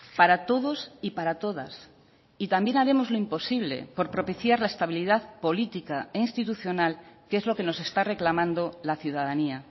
para todos y para todas y también haremos lo imposible por propiciar la estabilidad política e institucional que es lo que nos está reclamando la ciudadanía